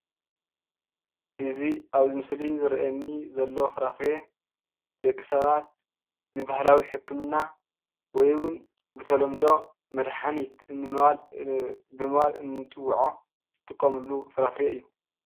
እዙይ ኣብ ምስሊ ዝርኣየኒ ዘሎ ፍራፍረ ደቂ ሰባት ንባህላዊ ሕክምና ወይምን ብተለምዶ መድሓኒት ብምባል እናበልና እንፅውዖ ዝጥቀምሉ ፍራፍሬ እዩ።